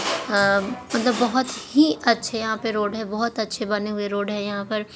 अ-मतलब बहुत ही अच्छे यहाँ पर रोड है बहुत अच्छे बने हुए रोड है यहाँ पर--